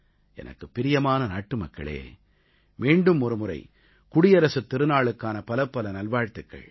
எனக்குப் பிரியமான நாட்டுமக்களே மீண்டும் ஒருமுறை குடியரசுத் திருநாளுக்கான பலப்பல நல்வாழ்த்துக்கள்